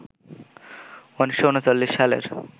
১৯৩৯ সালের